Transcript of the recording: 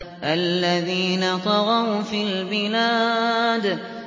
الَّذِينَ طَغَوْا فِي الْبِلَادِ